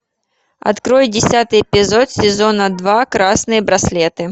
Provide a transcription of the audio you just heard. открой десятый эпизод сезона два красные браслеты